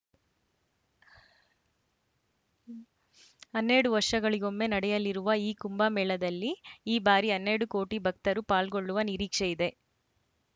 ಹನ್ನೆರಡು ವರ್ಷಗಳಿಗೊಮ್ಮೆ ನಡೆಯಲಿರುವ ಈ ಕುಂಭಮೇಳದಲ್ಲಿ ಈ ಬಾರಿ ಹನ್ನೆರಡು ಕೋಟಿ ಭಕ್ತರು ಪಾಲ್ಗೊಳ್ಳುವ ನಿರೀಕ್ಷೆ ಇದೆ